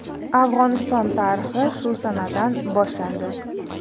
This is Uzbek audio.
Afg‘oniston tarixi shu sanadan boshlandi.